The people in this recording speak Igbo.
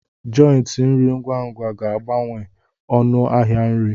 jòintí nri ngwa ngwa ga-abawanye ọnụ ahịa nri